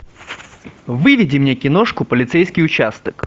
выведи мне киношку полицейский участок